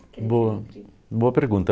Boa, boa pergunta.